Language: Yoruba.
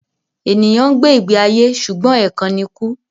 Ènìyàn ń gbé ìgbé ayé ṣùgbọ́n ẹ̀kan ni kú